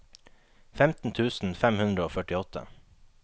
femten tusen fem hundre og førtiåtte